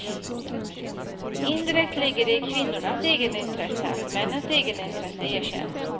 Indirekt ligger det i kvinnornas egenintresse att männens egenintresse erkänns.